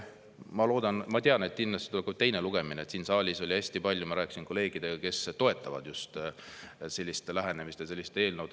Ma loodan, ma tean, et kindlasti tuleb ka teine lugemine, sest siin saalis oli hästi palju neid – ma rääkisin kolleegidega –, kes toetavad just sellist lähenemist ja sellist eelnõu.